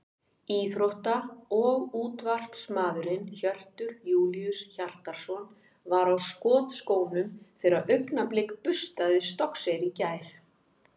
Íþrótta- og útvarpsmaðurinn Hjörtur Júlíus Hjartarson var á skotskónum þegar Augnablik burstaði Stokkseyri í gær.